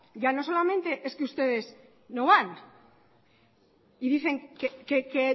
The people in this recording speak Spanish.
ya no solamente es que ustedes no van y dicen que